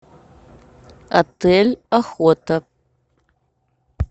отель охота